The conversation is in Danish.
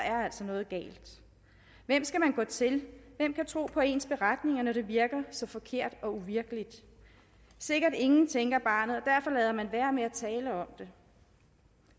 er noget galt hvem skal man gå til hvem kan tro på ens beretninger når det virker så forkert og uvirkeligt sikkert ingen tænker barnet og man være med at tale om det